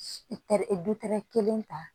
tɛ dutɛrɛ kelen ta